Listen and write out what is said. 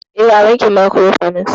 E, a bankin Mariko fanas